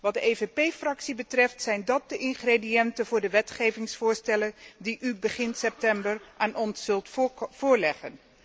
Wat de PPE Fractie betreft zijn dat de ingrediënten voor de wetgevingsvoorstellen die u begin september aan ons zult voorleggen.